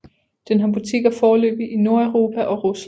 Den har butikker foreløbigt i Nordeuropa og Rusland